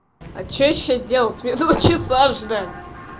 а что ещё делать мне два часа ждать